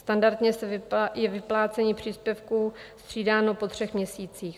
Standardně je vyplácení příspěvku střídáno po třech měsících.